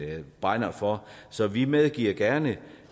brænder for så vi medgiver gerne